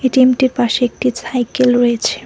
এটিএমটির পাশে একটি ছাইকেল রয়েছে।